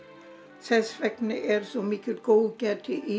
þess vegna er svona mikið góðgæti í